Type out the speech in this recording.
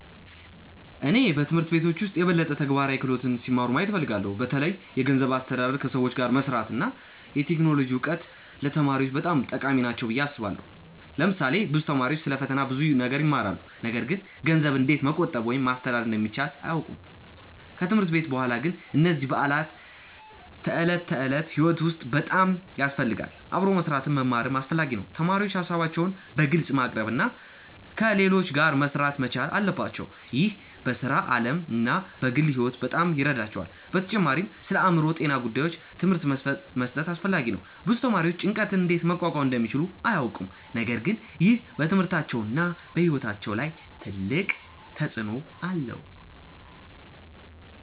እኔ በትምህርት ቤቶች ውስጥ የበለጠ ተግባራዊ ክህሎቶች ሲማሩ ማየት እፈልጋለሁ። በተለይ የገንዘብ አስተዳደር፣ ከሰዎች ጋር መስራት እና የቴክኖሎጂ እውቀት ለተማሪዎች በጣም ጠቃሚ ናቸው ብዬ አስባለሁ። ለምሳሌ ብዙ ተማሪዎች ስለ ፈተና ብዙ ነገር ይማራሉ፣ ነገር ግን ገንዘብን እንዴት መቆጠብ ወይም ማስተዳደር እንደሚቻል አያውቁም። ከትምህርት ቤት በኋላ ግን እነዚህ በዕለት ተዕለት ሕይወት ውስጥ በጣም ያስፈልጋሉ። አብሮ መስራትንም መማርም አስፈላጊ ነው። ተማሪዎች ሀሳባቸውን በግልጽ ማቅረብ እና ከሌሎች ጋር መሥራት መቻል አለባቸው። ይህ በሥራ ዓለም እና በግል ሕይወት በጣም ይረዳቸዋል። በተጨማሪም ስለአእምሮ ጤና ጉዳዮች ትምህርት መስጠት አስፈላጊ ነው። ብዙ ተማሪዎች ጭንቀትን እንዴት መቋቋም እንደሚችሉ አያውቁም፣ ነገር ግን ይህ በትምህርታቸውና በሕይወታቸው ላይ ትልቅ ተጽእኖ አለው።